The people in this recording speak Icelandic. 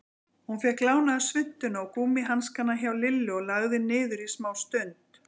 Hún fékk lánaða svuntuna og gúmmíhanskana hjá Lillu og lagði niður smástund.